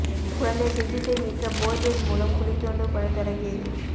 குழந்தை சுர்ஜித்தை மீட்க போர்வெல் மூலம் குழி தோண்டும் பணி தொடங்கியது